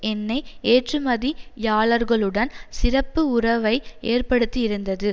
எண்ணெய் ஏற்றுமதியாளர்களுடன் சிறப்பு உறவை ஏற்படுத்தியிருந்தது